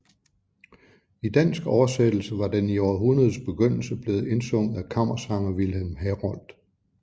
I dansk oversættelse var den i århundredets begyndelse blevet indsunget af kammersanger Vilhelm Herold